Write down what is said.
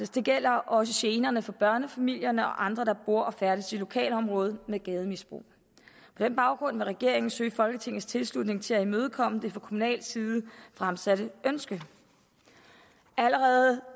det gælder også generne for børnefamilierne og andre der bor og færdes i lokalområder med gademisbrug på den baggrund vil regeringen søge folketingets tilslutning til at imødekomme det fra kommunal side fremsatte ønske allerede